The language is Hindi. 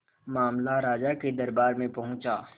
मामला राजा के दरबार में पहुंचा